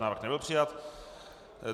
Návrh nebyl přijat.